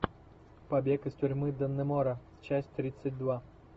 побег из тюрьмы даннемора часть тридцать два